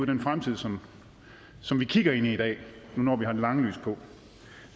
den fremtid som som vi kigger ind i i dag nu når vi har det lange lys på